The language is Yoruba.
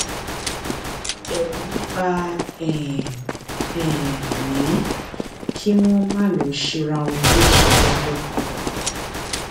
bí ó bá mu wàrà omi tàbí ohun mímú ẹlẹrìndòdò ó máa ń um bì í dànù